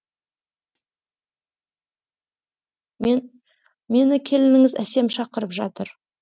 мені келініңіз әсем шақырып жатыр